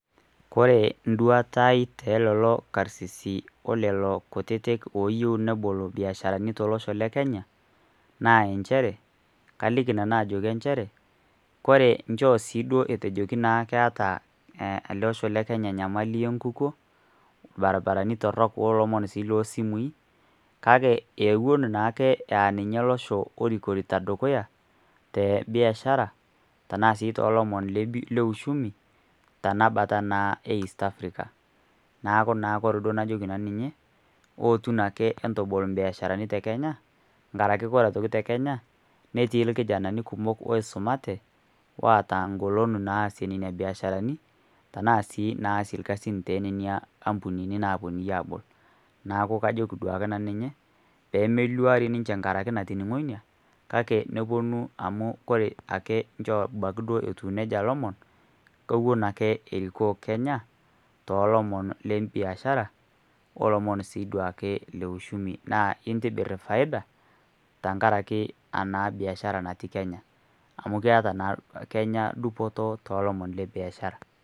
Oore en'duata aai tolelo karsisi olelo kutitik oyieu nebol imbiasharanui tolosho le Kenya, naa inchere kaliki nanu ajoki inchere, koore inchoo siiduo etejoki keeta eleosho le Kenya enyamali enkukuo, irbaribarani torok olomoni sii loo simui, kake ninye naake olosho orikito tombaa ebiashara, tanaa naa tolomoni le uchumi toloshon le Eat Africa naaaku naake oore duo anajoki nanu ninche ootu naa entabol imbiasharani te Kenya netii irkijanani kumok oisumate, oota egoln naasie imbiasharani, tanaa sii naasie irkasin tenena ampunini napo nunui aabol. Niaku ajoki naa ninche peyie meluari nkaraki natoning'o iina neponu duoke amuu olosho le Kenya orikito tolomon le biashara aa itum faida.